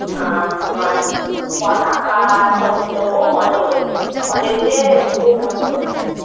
আহ তোমার পতাকা সব দিতো খুব মজা করেছি। college এ খুব মজা করেছি।